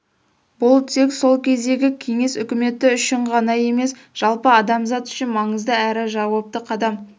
бұл тек сол кездегі кеңес үкіметі үшін ғана емес жалпы адамзат үшін маңызды әрі жауапты қадам